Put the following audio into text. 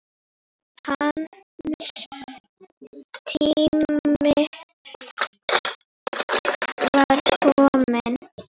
Hans tími var kominn.